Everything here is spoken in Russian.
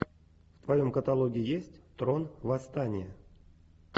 в твоем каталоге есть трон восстание